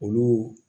Olu